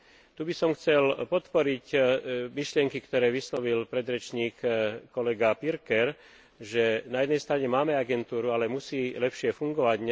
Tu by som chcel podporiť myšlienky, ktoré vyslovil predrečník kolega Pirker, že na jednej strane máme agentúru, ale musí lepšie fungovať.